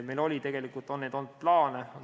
Meil on olnud plaane.